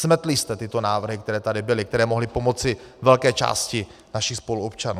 Smetli jste tyto návrhy, které tady byly, které mohly pomoci velké části našich spoluobčanů.